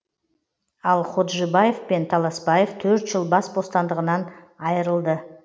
ал ходжибаев пен таласбаев төрт жыл бас бостандығынан айырылды